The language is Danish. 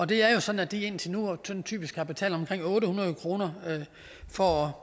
det er jo sådan at de indtil nu sådan typisk har betalt omkring otte hundrede kroner for